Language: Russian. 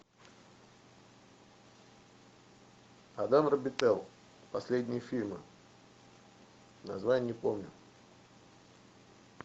адам робител последние фильмы название не помню